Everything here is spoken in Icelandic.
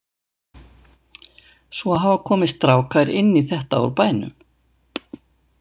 Svo hafa komið strákar inn í þetta úr bænum.